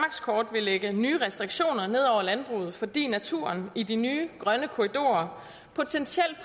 vil lægge nye restriktioner ned over landbruget fordi naturen i de nye grønne korridorer potentielt